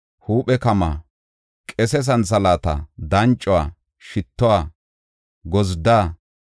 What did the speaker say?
huuphe kama, qese santhalaata, dancuwa, shittuwa, gozdda,